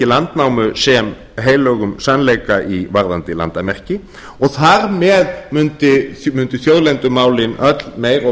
landnámu sem heilögum sannleika varðandi landamerki og þar með mundu þjóðlendumálin öll meira og